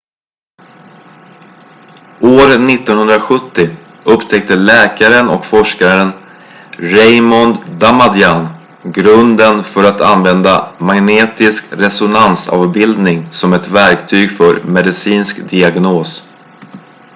år 1970 upptäckte läkaren och forskaren raymond damadian grunden för att använda magnetisk resonansavbildning som ett verktyg för medicinsk diagnos